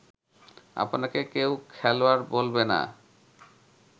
আপনাকে কেউ খেলোয়াড় বলবে না